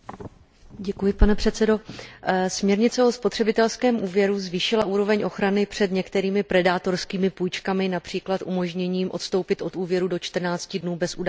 Pane předsedající, směrnice o spotřebitelském úvěru zvýšila úroveň ochrany před některými predátorskými půjčkami, např. umožněním odstoupit od úvěru do 14 dnů bez udání důvodu.